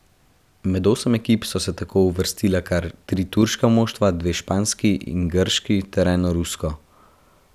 Med osem ekip so se tako uvrstila kar tri turška moštva, dve španski in grški ter eno rusko.